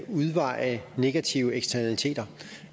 udveje negative eksternaliteter